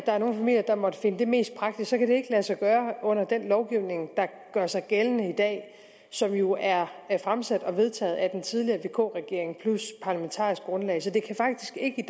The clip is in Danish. er nogle familier der måtte finde det mest praktisk kan det ikke lade sig gøre under den lovgivning der gør sig gældende i dag og som jo er fremsat og vedtaget af den tidligere vk regering plus parlamentarisk grundlag så det kan faktisk ikke